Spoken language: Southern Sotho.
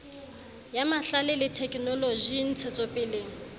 ya mahlale le thekenoloji ntshetsopeleng